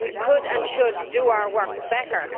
We could and should do our work better.